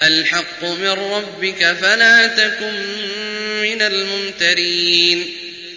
الْحَقُّ مِن رَّبِّكَ فَلَا تَكُن مِّنَ الْمُمْتَرِينَ